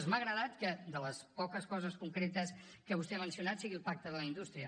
m’ha agradat que de les poques coses concretes que vostè ha mencionat sigui el pacte per la indústria